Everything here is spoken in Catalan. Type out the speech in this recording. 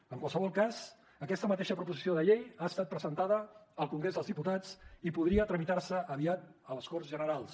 en qualsevol cas aquesta mateixa proposició de llei ha estat presentada al congrés dels diputats i podria tramitar se aviat a les corts generals